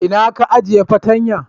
Inna ka ajie su fatanyan?